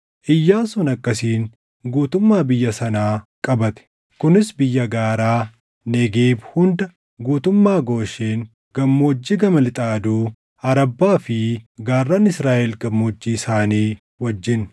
Iyyaasuun akkasiin guutummaa biyya sanaa qabate; kunis biyya gaaraa, Negeeb hunda, guutummaa Gooshen, gammoojjii gama lixa aduu, Arabbaa fi gaarran Israaʼel gammoojjii isaanii wajjin,